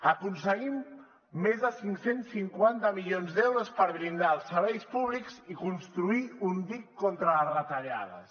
aconseguim més de cinc cents i cinquanta milions d’euros per blindar els serveis públics i construir un dic contra les retallades